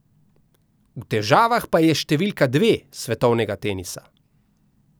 V težavah pa je številka dve svetovnega tenisa.